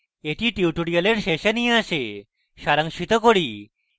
এটি tutorial শেষে নিয়ে আসে এখন সারাংশিত করি